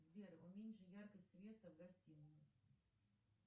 сбер уменьши яркость света в гостинной